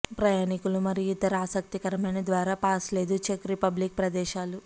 ప్రయాణికులు మరియు ఇతర ఆసక్తికరమైన ద్వారా పాస్ లేదు చెక్ రిపబ్లిక్ ప్రదేశాలు